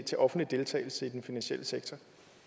til offentlig deltagelse i den finansielle sektor